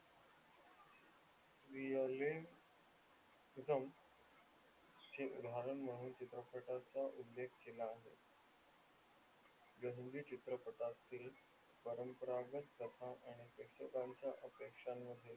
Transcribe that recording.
चित्रपटाचा उल्लेख केला आहे या चित्रततील परंपरागत कथा आणि प्रेषकांच्या अपेक्षामध्ये